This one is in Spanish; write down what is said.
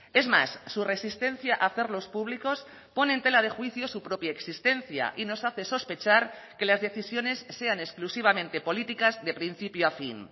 es más su resistencia a hacerlos públicos pone en tela de juicio su propia existencia y nos hace sospechar que las decisiones sean exclusivamente políticas de principio a fin